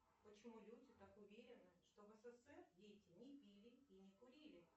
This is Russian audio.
почему люди так уверены что в ссср дети не пили и не курили